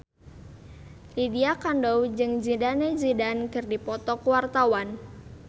Lydia Kandou jeung Zidane Zidane keur dipoto ku wartawan